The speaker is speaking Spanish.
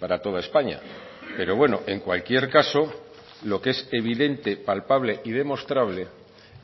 para toda españa pero bueno en cualquier caso lo que es evidente palpable y demostrable